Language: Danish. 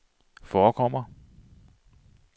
forekommer